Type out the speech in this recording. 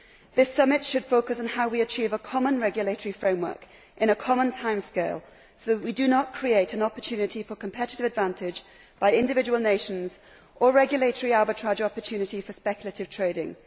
This summit should focus on how we achieve a common regulatory framework in a common timescale so that we do not create an opportunity for competitive advantage by individual nations or regulatory arbitrage opportunity for speculative trading.